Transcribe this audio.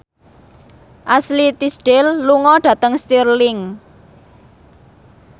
Ashley Tisdale lunga dhateng Stirling